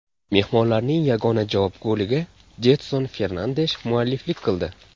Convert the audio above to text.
Mehmonlarning yagona javob goliga Jedson Fernandesh mualliflik qildi.